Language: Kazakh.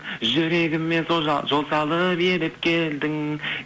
жүрегіме жол салып еріп келдің